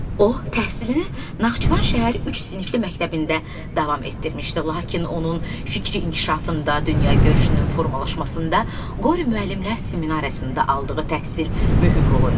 O, təhsilini Naxçıvan şəhər üç sinifli məktəbində davam etdirmişdi, lakin onun fikri inkişafında, dünyagörüşünün formalaşmasında Qori müəllimlər seminariyasında aldığı təhsil mühüm rol oynamışdı.